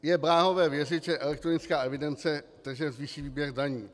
Je bláhové věřit, že elektronická evidence tržeb zvýší výběr daní.